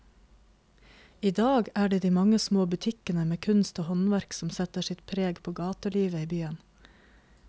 I dag er det de mange små butikkene med kunst og håndverk som setter sitt preg på gatelivet i byen.